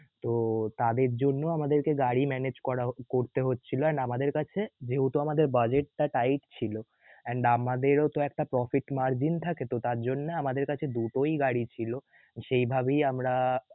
তো~ তাদের জন্যই আমাদেরকে গাড়ি manage করা~ করতে হচ্ছিল না আমাদের কাছে যেহেতু আমাদের budget টা tight ছিল and আমাদেরও তো একটা profit margin থাকে তো তার জন্যই আমাদের কাছে দুটোই গাড়ি ছিল সেই ভাবেই আমরা~